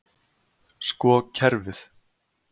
Sko kerfið.